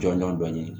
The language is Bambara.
Jɔnjɔn dɔ ɲini